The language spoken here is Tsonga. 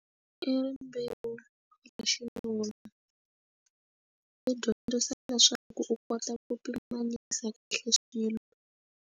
I rimbewu ra xinuna i dyondzisa leswaku u kota ku pimanyisa kahle swilo.